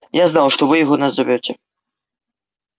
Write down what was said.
я знал что вы его назовёте